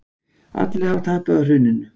Allir hafi tapað á hruninu